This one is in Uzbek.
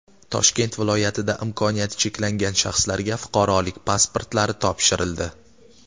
Toshkent viloyatida imkoniyati cheklangan shaxslarga fuqarolik pasportlari topshirildi.